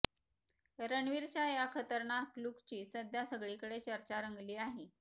रणवीरच्या या खतरनाक लूकची सध्या सगळीकडे चर्चा रंगली आहे